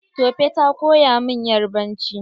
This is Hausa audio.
Tope ta koya min yarbanci.